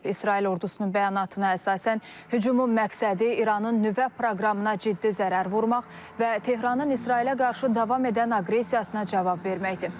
İsrail ordusunun bəyanatına əsasən hücumun məqsədi İranın nüvə proqramına ciddi zərər vurmaq və Tehranın İsrailə qarşı davam edən aqressiyasına cavab verməkdir.